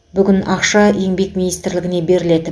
бүгін ақша еңбек министрлігіне беріледі